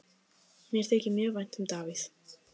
Mér þykir mjög vænt um Davíð.